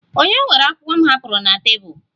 Ònye were akwụkwọ m hapụrụ na tebụl?